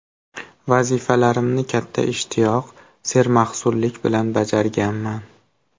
Vazifalarimni katta ishtiyoq, sermahsullik bilan bajarganman.